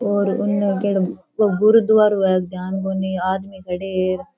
और उने केढ़ो गुरुद्वारो है ध्यान कोणी आदमी खड्या है अर।